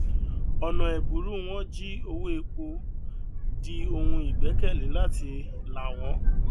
ọnà ẹbùrú wọn jí owó epo di ohun ìgbékèlé láti là wọn